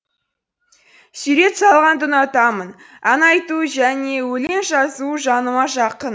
сурет салғанды ұнатамын ән айту және өлең жазу жаныма жақын